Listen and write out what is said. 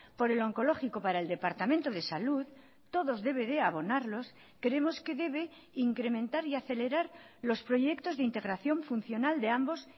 por el oncológico para el departamento de salud todos debe de abonarlos creemos que debe incrementar y acelerar los proyectos de integración funcional de ambos